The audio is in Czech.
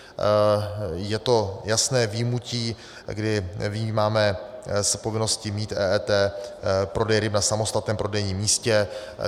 Je to jasné vyjmutí, kdy vyjímáme z povinnosti mít EET prodej ryb na samostatném prodejním místě.